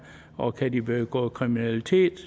og kan de begå kriminalitet